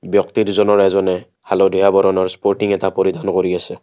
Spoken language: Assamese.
ব্যক্তি দুজনৰ এজন হালধীয়া ৰঙৰ স্পৰ্টিং এটা পৰিধান কৰি আছে।